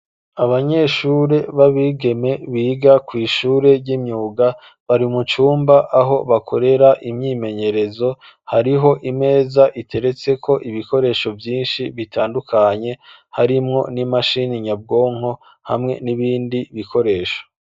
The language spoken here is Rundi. Abanyeshure b'abigeme biga kw' ishure ry'imyuga, bari mucumba aho bakorera imyimenyerezo, hariho imeza iteretse ko ibikoresho vyinshi, bitandukanye, harimwo n'imashini nyabwonko, hamwe n'ibindi bikoresho.